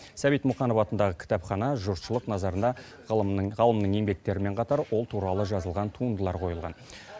сәбит мұқанов атындағы кітапхана жұртшылық назарына ғалымның еңбектерімен қатар ол туралы жазылған туындылар қойылған